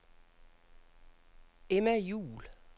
Emma Juhl